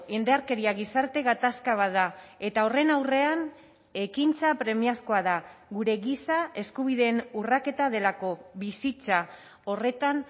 indarkeria gizarte gatazka bat da eta horren aurrean ekintza premiazkoa da gure giza eskubideen urraketa delako bizitza horretan